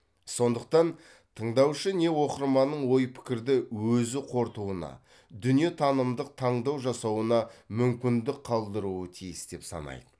сондықтан тыңдаушы не оқырманның ой пікірді өзі қорытуына дүниетанымдық таңдау жасауына мүмкіндік қалдыруы тиіс деп санайды